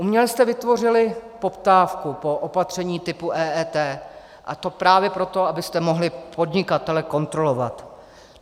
Uměle jste vytvořili poptávku po opatření typu EET, a to právě proto, abyste mohli podnikatele kontrolovat.